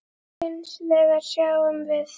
Hins vegar sjáum við